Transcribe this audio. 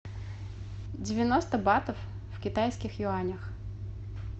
девяносто батов в китайских юанях